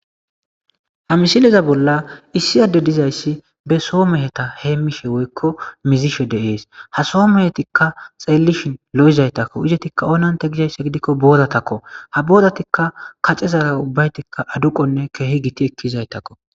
Ha misileza bolla issi addeza dizayssi be so mehetha heemmishe woykko mizishe de7ees; ha so mehethikka xeellishin lo7izaythakko; izethikka gizeyssa gidikko boorathokoo; ha boorathikka kacezaara ubbayththikka aduqonne keehi githethizaythakko.